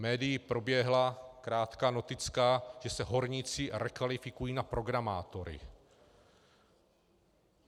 Médii proběhla krátká noticka, že se horníci rekvalifikují na programátory.